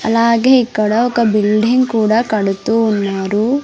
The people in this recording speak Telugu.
అలాగే ఇక్కడ ఒక బిల్డింగ్ కూడా కడుతూ ఉన్నారు.